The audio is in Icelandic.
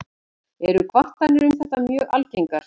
Eru kvartanir um þetta mjög algengar.